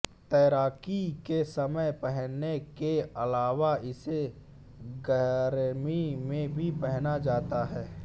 तैराकी के समय पहनने के अलावा इसे गरमी में भी पहना जाता है